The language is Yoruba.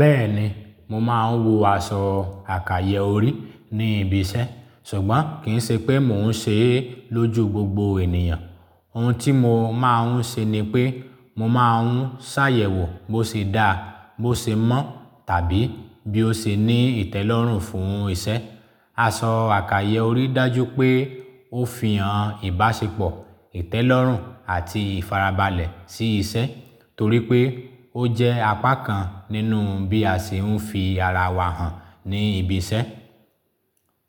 Bẹ́ẹ̀ni, mo máa ń wọ aṣọ àkàyọrí ní ibi iṣẹ́ ṣùgbọ́n kì í ṣe pé mò ń ṣe é lójú gbogbo ènìyàn. Ohun tí mo máa ń ṣe ni pé mò máa ń ṣàyẹ̀wò bó ṣe dáa, bó ṣe mọ́ tàbí bí ó ṣe ní ìtẹ́lọ́rùn fún iṣẹ́. Aṣọ àkàyọrí dájú pé ó fi hàn ìbáṣepọ̀, ìtẹ́lọ́rùn àti ìfarabalẹ̀ sí iṣẹ́ torí pé ó jẹ́ apá kan nínú bí a ṣe ń fi ara wa hàn ní ibiṣẹ́.